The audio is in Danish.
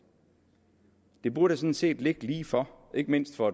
det burde sådan set ligge lige for ikke mindst for